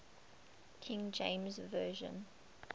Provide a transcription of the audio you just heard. king james version